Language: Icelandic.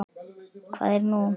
Hvað er nú?